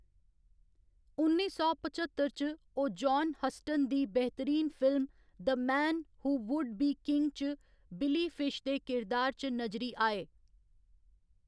उन्नी सौ पचत्तर च, ओह्‌‌ जान हस्टन दी बेहतरीन film, the man who would be king च बिली फिश दे किरदार च नजरी आए।